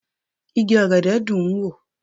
Igi ọ̀gẹ̀dẹ̀ dùn ń wò